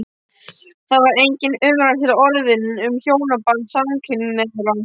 Þá var engin umræða til orðin um hjónaband samkynhneigðra.